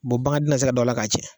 bangan tɛ na se ka don a la ka tiɲɛ.